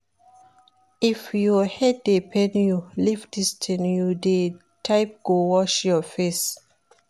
If your head dey pain you leave dis thing you dey type go wash your face